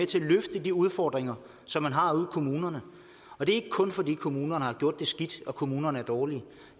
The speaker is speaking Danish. til at løfte de udfordringer som man har ude i kommunerne og det er ikke kun fordi kommunerne har gjort det skidt og kommunerne er dårlige